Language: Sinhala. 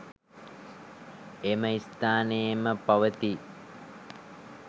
එම ස්ථානයේම පවතියි.